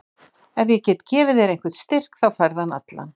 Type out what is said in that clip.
Ef ég get gefið þér einhvern styrk þá færðu hann allan.